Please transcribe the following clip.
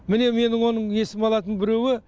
міне менің оның есіме алатын біреуі